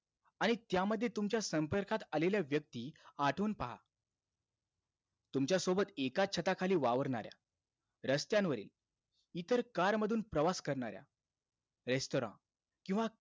आणि त्यामध्ये तुमच्या संपर्कात आलेल्या व्यक्ती आठवून पहा. तुमच्यासोबत एकाचं छताखाली वावरणाऱ्या, रस्त्यांवरील, इतर car मधून प्रवास करणाऱ्या, restaurant, किंवा